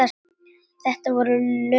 Þetta voru lögin mín.